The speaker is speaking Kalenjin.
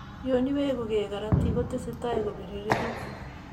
Yon weguu gee karatik, ko tese tai kobiriregitu